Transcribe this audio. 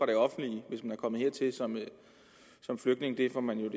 det offentlige hvis man er kommet hertil som flygtning det får man